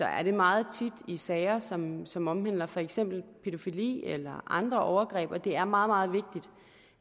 er det meget tit i sager som som omhandler for eksempel pædofili eller andre overgreb og det er meget meget vigtigt